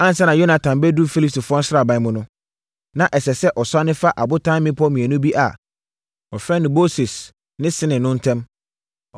Ansa na Yonatan bɛduru Filistifoɔ sraban mu no, na ɛsɛ sɛ ɔsiane fa abotan mmepɔ mmienu bi a wɔfrɛ no Boses ne Sene no ntam.